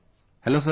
Hello Sir